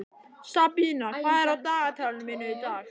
Sabína, hvað er á dagatalinu mínu í dag?